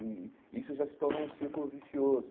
E isso já se tornou um círculo vicioso.